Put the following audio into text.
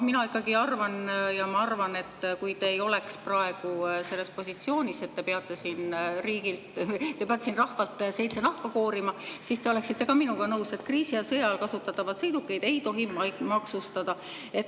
Mina ikkagi arvan, et kui te ei oleks praegu selles positsioonis, et te peate siin rahvalt seitse nahka koorima, siis te oleksite minuga nõus, et kriisi- ja sõjaajal kasutatavaid sõidukeid ei tohi maksustada.